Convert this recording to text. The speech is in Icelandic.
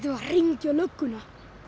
að hringja í lögguna